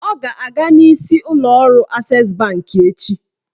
Ọ ga-aga n'isi ụlọọrụ Ases bankị echi